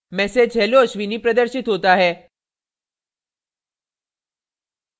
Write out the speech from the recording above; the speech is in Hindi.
message hello ashwini प्रदर्शित होता है